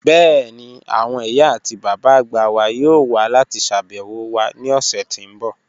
Bẹ́ẹ̀ni, awọn iyà ati baba agba wà yọọ̀ wà lati ṣàbẹwo wa ni ọṣẹ̀ ti n bọ́